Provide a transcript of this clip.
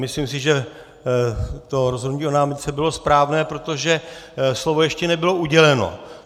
Myslím si, že to rozhodnutí o námitce bylo správné, protože slovo ještě nebylo uděleno.